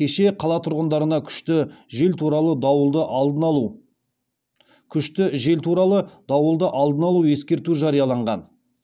кеше қала тұрғындарына күшті жел туралы дауылды алдын алу ескерту жарияланған